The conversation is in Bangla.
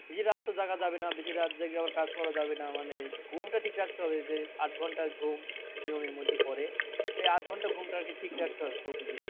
বেশি রাত তো জাগা যাবে না বেশি রাত জেগে আবার কাজ করা যাবে না মানে ঘুমটা ঠিক রাখতে হবে যে আট ঘন্টা ঘুম নিয়মের মধ্যে পরে এই আট ঘন্টা ঘুমটা আরকি ঠিক রাখতে হবে প্রতিদিন।